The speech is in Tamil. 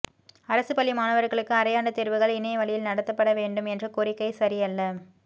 அரசுப் பள்ளி மாணவர்களுக்கு அரையாண்டு தேர்வுகள் இணைய வழியில் நடத்தப்படவேண்டும் என்ற கோரிக்கை சரியல்ல